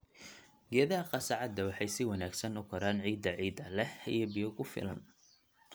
Geedaha qasacada waxay si wanaagsan u koraan ciidda ciidda leh iyo biyo ku filan.